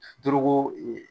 Dorogo e